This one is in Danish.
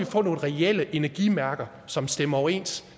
få nogle reelle energimærker som stemmer overens